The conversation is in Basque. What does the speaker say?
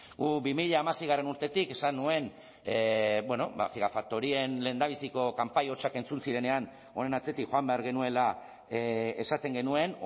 guk bi mila hamasei urtetik esan nuen bueno ba gigafaktorien lehendabiziko kanpai hotsak entzuten zirenean honen atzetik joan behar genuela esaten genuen